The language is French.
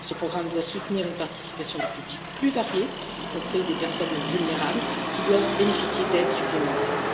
Ce programme doit soutenir une participation de publics plus variés, y compris des personnes vulnérables, qui doivent bénéficier d'aides supplémentaires.